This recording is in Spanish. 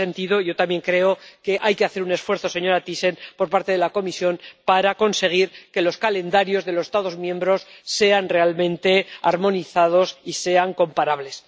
Y en ese sentido, yo también creo que hay que hacer un esfuerzo, señora Thyssen, por parte de la Comisión, para conseguir que los calendarios de los Estados miembros sean realmente armonizados y sean comparables.